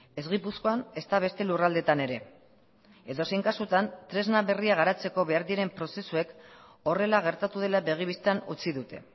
ez gipuzkoan ezta beste lurraldeetan ere edozein kasutan tresna berria garatzeko behar diren prozesuek horrela gertatu dela begi bistan utzi dute